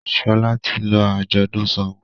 Shola tí lọ ajọdun ṣàngó.